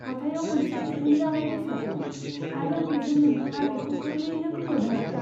हाथायाव मोनसे दिहुनजानाय बेसाद दं, आरो बेजों नोंथाङा बेखौ गोरलैयैनो खोमोरनो हागोन।